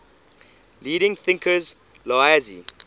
leading thinkers laozi